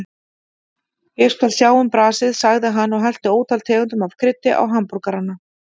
Ég skal sjá um brasið, sagði hann og hellti ótal tegundum af kryddi á hamborgarana.